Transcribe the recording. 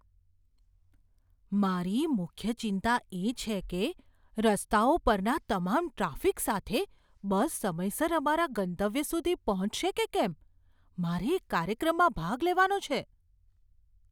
મારી મુખ્ય ચિંતા એ છે કે રસ્તાઓ પરના તમામ ટ્રાફિક સાથે બસ સમયસર અમારા ગંતવ્ય સુધી પહોંચશે કે કેમ. મારે એક કાર્યક્રમમાં ભાગ લેવાનો છે.